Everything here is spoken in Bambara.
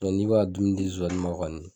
Mɛ n'i be ka dumuni di zonzani ma kɔni